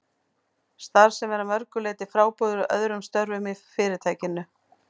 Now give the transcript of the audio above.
Starf sem er að mörgu leyti frábrugðið öðrum störfum í Fyrirtækinu.